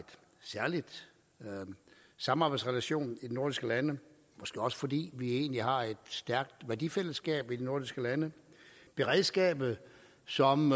særlig samarbejdsrelation i de nordiske lande måske også fordi vi egentlig har et stærkt værdifællesskab i de nordiske lande beredskabet som